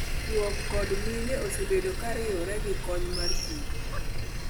Chuo kod mine osebedo kairiwo gi kony mar Kim.